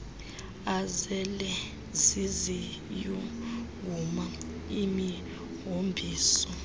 azele ziziyunguma imihombiso